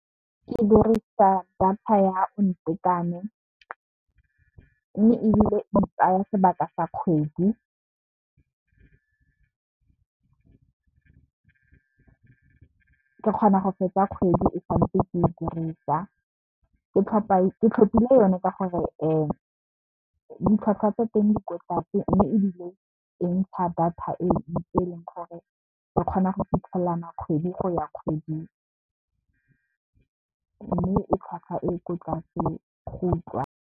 Ke dirisa data ya ntekwane mme, ebile e tsaya sebaka sa kgwedi ke kgona go feta kgwedi e santse ke e dirisa, ke tlhopile yone ka gore ditlhwatlhwa tsa teng di ko tlase. Mme, ebile e ntsha data e leng gore ke kgona go fitlhelela kana kgwedi go ya kgwedi mme, e tlhwatlhwa e ko tlase go utlwala.